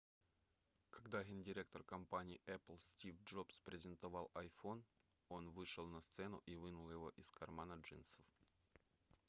когда гендиректор компании apple стив джобс презентовал iphone он вышел на сцену и вынул его из кармана джинсов